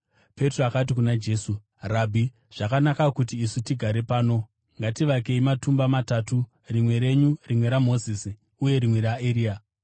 Petro akati kuna Jesu, “Rabhi, zvakanaka kuti isu tigare pano. Ngativakei matumba matatu, rimwe renyu, rimwe raMozisi uye rimwe raEria.”